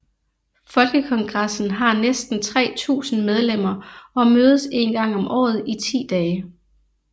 Folkekongressen har næsten 3000 medlemmer og mødes en gang om året i ti dage